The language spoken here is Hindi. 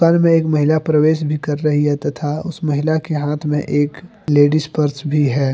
घर में एक महिला प्रवेश भी कर रही है तथा उस महिला के हाथ में एक लेडिस पर्स भी है।